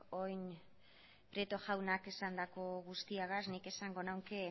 orain prieto jaunak esandako guztiarekin nik esango nuke